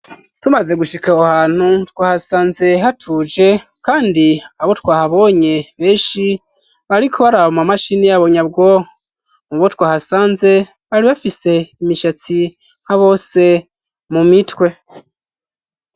Tumaze gushika awo hantu twahasanze hatuje, kandi abo twahabonye beshi bariko bari abomaa mashini yabonyabwo mu bo twahasanze bari bafise imishatsi ha bo se mu mitwe.